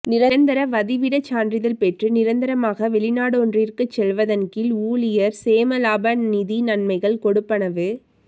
நிரந்தர வதிவிடச் சான்றிதழ் பெற்று நிரந்தரமாக வெளி நாடொன்றிற்குச் செல்வதன் கீழ் ஊழியர் சேமலாப நிதி நன்மைகள் கொடுப்பனவு